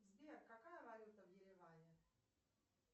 сбер какая валюта в ереване